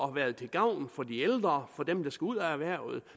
har været til gavn for de ældre for dem der skal ud af erhvervet